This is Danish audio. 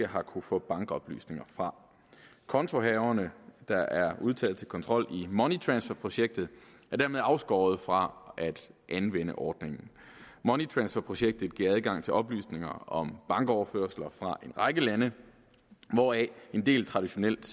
har kunnet få bankoplysninger fra kontohaverne der er udtaget til kontrol i money transfer projektet er dermed afskåret fra at anvende ordningen money transfer projektet giver adgang til oplysninger om bankoverførsler fra en række lande hvoraf en del traditionelt